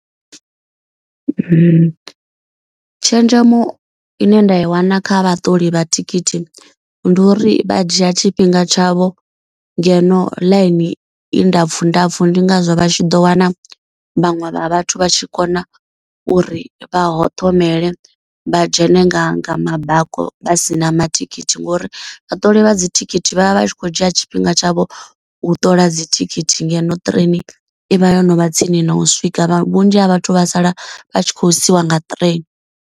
Tshenzhemo ine nda i wana kha vhaṱoli vha thikhithi ndi uri vha dzhia tshifhinga tshavho. Ngeno ḽaini i ndapfu ndapfu ndi ngazwo vha tshi ḓo wana vhaṅwe vha vhathu vha tshi kona uri vha hoṱomele vha dzhene nga nga mabakoni. Vha si na ma thikhithi ngori vha ṱola vha dzithikhithi vhavha vhatshi kho dzhia tshifhinga tshavho u ṱola dzi thikhithi. Ngeno train ivha yo novha tsini na u swika vhunzhi ha vhathu vha sala vha tshi khou siwa nga train.